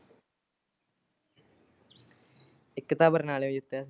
ਇਕ ਤਾਂ ਬਰਨਾਲੇਉ ਜਿੱਤਿਆ ਸੀ।